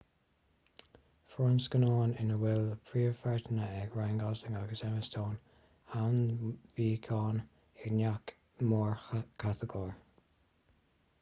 fuair ​​an scannán ina bhfuil príomhpháirteanna ag ryan gosling agus emma stone ainmniúcháin i ngach mórchatagóir